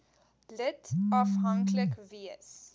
lid afhanklik wees